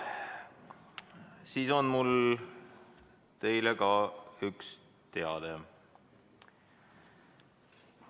Siis on mul teile ka üks teade.